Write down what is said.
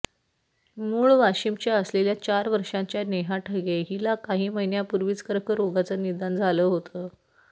मूळ वाशिमच्या असलेल्या चार वर्षांच्या नेहा ठगे हिला काही महिन्यांपूर्वीच कर्करोगाचं निदान झालं होतं